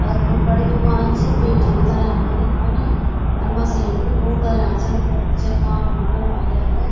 अर खूब बडी दुकान च पेटी बि धर्या छन इक फन अर मशीन भी खूब धर्या छन ज्या काम होण ह्वाल यख।